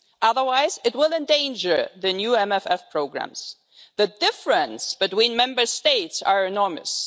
Otherwise, it will endanger the new MFF programmes. The difference between Member States is enormous.